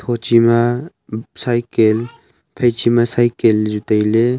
Tho chima cycle phai chima cycle ley chu tailey.